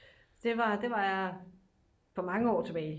det var det var for mange år tilbage